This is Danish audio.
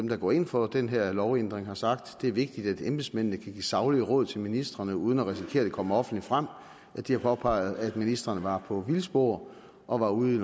der går ind for den her lovændring har sagt det er vigtigt at embedsmændene kan give saglige råd til ministrene uden at risikere at det kommer offentligt frem at de har påpeget at ministrene var på vildspor og var ude i